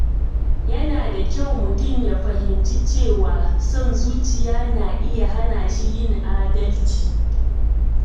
Yana da kyau mutum ya fahimci cewa son zuciya na iya hana shi yin adalci.